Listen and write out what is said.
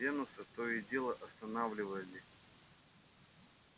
венуса то и дело останавливали